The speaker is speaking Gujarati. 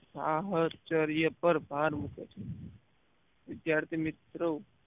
સાહસ્ચાર્ય પર ભાર મુક્યો છે વિદ્યાર્થી મિત્રો